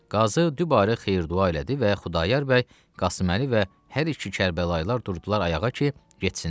Qazı dübarə xeyir-dua elədi və Xudayar bəy, Qasıməli və hər iki Kərbəlayılar durdular ayağa ki, getsinlər.